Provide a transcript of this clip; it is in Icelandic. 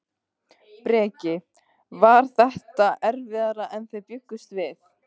Breki: Var þetta erfiðara en þið bjuggust við?